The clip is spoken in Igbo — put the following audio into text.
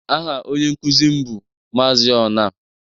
Aha onye nkuzi m bụ Maazị Onah